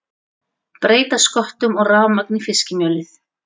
Breyta sköttum og rafmagn í fiskimjölið